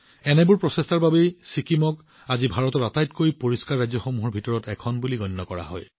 এনে প্ৰচেষ্টাৰ বাবে আজি ছিকিমক ভাৰতৰ আটাইতকৈ পৰিষ্কাৰ ৰাজ্যসমূহৰ ভিতৰত গণ্য কৰা হয়